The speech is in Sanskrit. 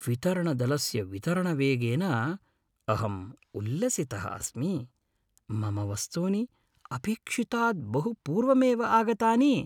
वितरणदलस्य वितरणवेगेन अहं उल्लसितः अस्मि। मम वस्तूनि अपेक्षितात् बहु पूर्वमेव आगतानि!